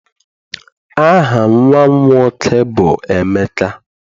Aha nnwa m nwoke bụ Emeka.